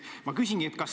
Ma küsingi, et kas ...